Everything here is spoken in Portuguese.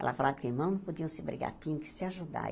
Ela falava que os irmãos não podiam se brigar, tinham que se ajudar.